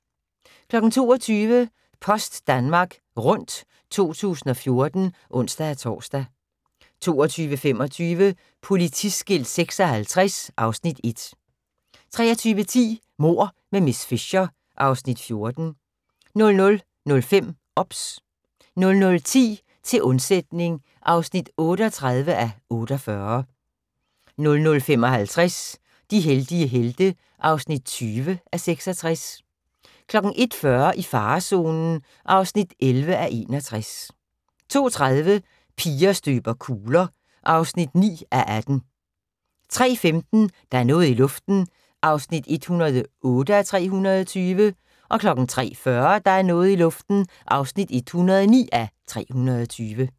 22:00: Post Danmark Rundt 2014 (ons-tor) 22:25: Politiskilt 56 (Afs. 1) 23:10: Mord med miss Fisher (Afs. 14) 00:05: OBS 00:10: Til undsætning (38:48) 00:55: De heldige helte (20:66) 01:40: I farezonen (11:61) 02:30: Piger støber kugler (9:18) 03:15: Der er noget i luften (108:320) 03:40: Der er noget i luften (109:320)